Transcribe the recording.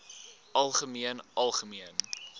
algemeen algemeen